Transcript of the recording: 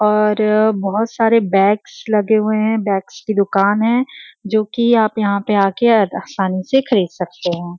और बहुत सारे बैग्स लगे हुए हैं। बैग्स की दुकान है जो कि आप यहाँ पे आके आसानी से खरीद सकते हैं।